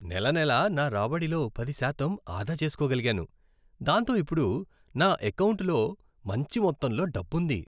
నెల నెలా నా రాబడిలో పది శాతం ఆదా చేసుకోగలిగాను, దాంతో ఇప్పుడు నా ఎకౌంటులో మంచి మొత్తంలో డబ్బుంది.